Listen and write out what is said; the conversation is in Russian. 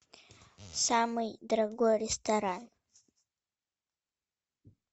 самый дорогой ресторан